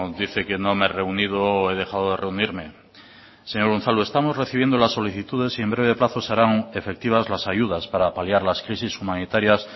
dice que no me he reunido o he dejado de reunirme señor unazlu estamos recibiendo las solicitudes y en breve plazos se harán efectivas las ayudas para paliar las crisis humanitarias